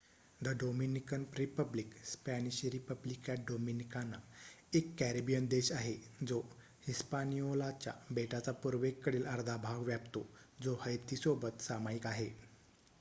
the Dominican Republic Spanish रिपब्लिका डोमिनीकाना एक कॅरिबियन देश आहे जो हिस्पानिओलाच्या बेटाचा पूर्वेकडील अर्धा भाग व्यापतो जो हैतीसोबत सामायिक आहे